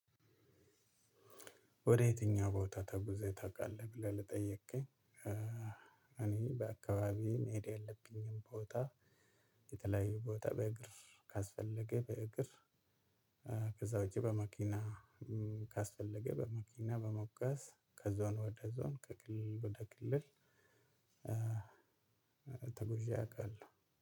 ወደ የትኛው ቦታ ተጉዘህ ታውቃለህ? ብለህ ለጠየከኝ እኔ በአካባቢዬ መሄድ ያለብኝም ቦታ የተለያየ ቦታ በእግር፣ ካስፈለገ በእግር ከዛ ውጪ በመኪና፣ ካስፈለገ በመኪና በመጓዝ ከዞን ወደ ዞን ከክልል ወደ ክልል ተጉዜ አውቃለሁ።